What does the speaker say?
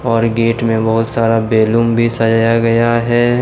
और गेट में बहुत सारे बैलून भी सजाया गया हैं।